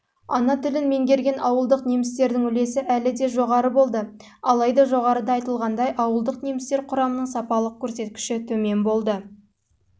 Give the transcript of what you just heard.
ана тілін меңгерген ауылдық немістердің үлесі әлі де жоғары болды алайда жоғарыда айтылғандай ауылдық немістер құрамының сапалық көрсеткішінің